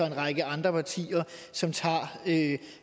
en række andre partier som tager